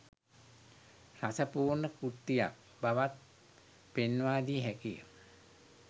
රස පූර්ණ කෘතියක් බවත් පෙන්වාදිය හැකිය